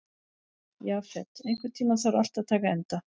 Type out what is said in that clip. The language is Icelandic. Jafet, einhvern tímann þarf allt að taka enda.